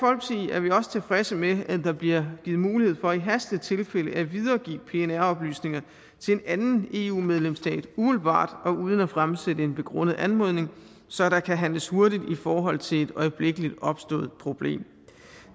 er vi også tilfredse med at der bliver givet mulighed for i hastetilfælde at videregive pnr oplysninger til en anden eu medlemsstat umiddelbart og uden at fremsætte en begrundet anmodning så der kan handles hurtigt i forhold til et øjeblikkeligt opstået problem